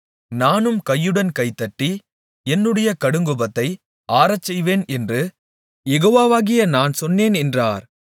நானும் கையுடன் கைதட்டி என்னுடைய கடுங்கோபத்தை ஆறச்செய்வேன் என்று யெகோவாகிய நான் சொன்னேன் என்றார்